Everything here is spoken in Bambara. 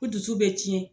Ko dusu bɛ tiɲɛ